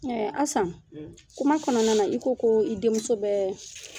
Asan kuma kɔnɔna i ko ko i denmuso bɛ